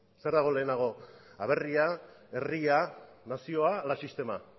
zer dago lehenago aberria herria nazioa ala sistema